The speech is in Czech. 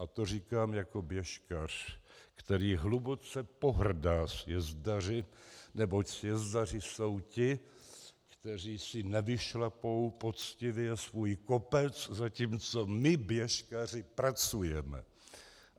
A to říkám jako běžkař, který hluboce pohrdá sjezdaři, neboť sjezdaři jsou ti, kteří si nevyšlapou poctivě svůj kopec, zatímco my běžkaři pracujeme.